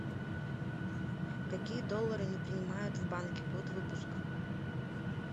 какие доллары не принимают в банке год выпуска